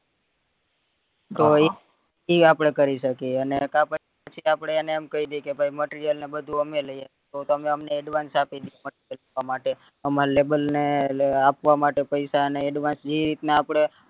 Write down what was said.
તો ઈ આપડે કરી શકીએ અને કા પછી આપડે એને એમ કઈ દઈએ કે ભય material ને બધું અમે લિયે તો તમે અમને advance આપી દ્યો માટે અમારાં labor ને આપવા માટે પૈસા ને advance ની એક આપડે